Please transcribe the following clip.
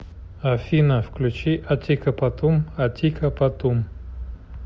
афина включи атикапатум атика патум